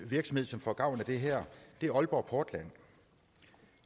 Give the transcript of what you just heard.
virksomhed som får gavn af det her er aalborg portland